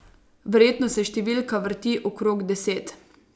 Verjetno se številka vrti okrog deset.